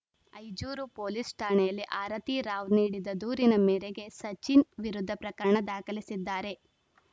Ijoor police ಠಾಣೆಯಲ್ಲಿ ಆರತಿ ರಾವ್‌ ನೀಡಿದ ದೂರಿನ ಮೇರೆಗೆ ಸಚಿನ್‌ ವಿರುದ್ಧ ಪ್ರಕರಣ ದಾಖಲಿಸಿದ್ದಾರೆ